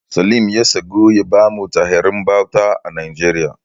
Salim ya tsagu ya bamu tarihin bauta a Najeriya.